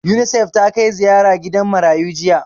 Unisef ta kai ziyara gidan marayu jiya